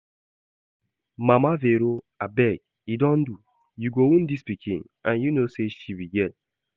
Mama Vero abeg e don do, you go wound dis pikin and you know say she be girl